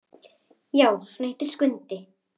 Já, hann heitir Skundi.